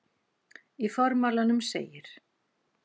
Í formálanum segir